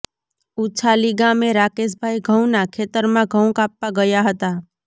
ઉછાલી ગામે રાકેશભાઇ ઘઉંના ખેતરમાં ઘઉં કાપવા ગયા હતા